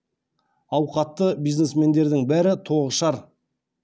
ауқатты бизнесмендердің бәрі тоғышар